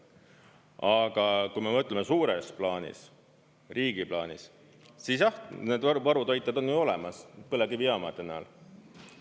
Aga kui me mõtleme suures plaanis, riigi plaanis, siis jah, need varutoited on ju olemas põlevkivijaamade näol.